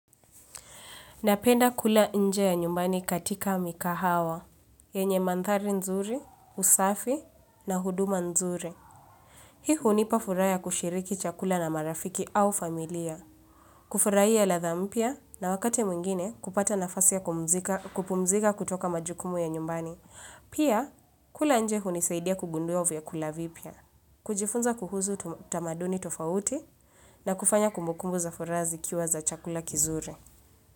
Napenda kula nje ya nyumbani katika mikahawa, yenye manthari nzuri, usafi na huduma nzuri. Hii hunipa furaha ya kushiriki chakula na marafiki au familia. Kufurahia ladha mpya na wakati mwingine kupata nafasi ya kupumzika kutoka majukumu ya nyumbani. Pia, kula nje hunisaidia kugunduwa vyakula vipya. Kujifunza kuhusu tamaduni tofauti na kufanya kumbukumbu za furaha zikiwa za chakula kizuri.